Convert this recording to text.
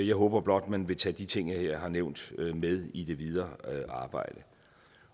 jeg håber blot at man vil tage de ting jeg har nævnt her med i det videre arbejde